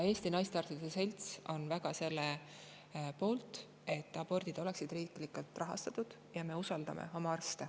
Eesti Naistearstide Selts on väga selle poolt, et abordid oleksid riiklikult rahastatud, ja me usaldame oma arste.